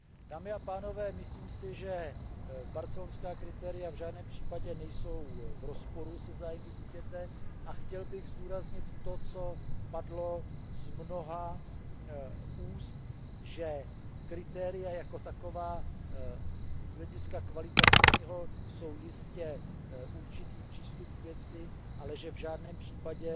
Dámy a pánové, myslím si, že barcelonská kritéria v žádném případě nejsou v rozporu se zájmy dítěte a chtěl bych zdůraznit to, co padlo z mnoha úst, že kritéria jako taková jsou z hlediska kvalitativního jistě určitý přístup k věci, ale že v žádném případě